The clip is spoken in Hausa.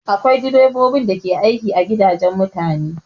Akwai direbobi da ke aiki a gidajen mutane